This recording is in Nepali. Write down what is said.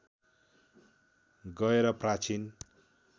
गएर प्राचीन